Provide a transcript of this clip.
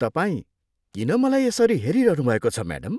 तपाईँ किन मलाई यसरी हेरिरहनुभएको छ म्याडम?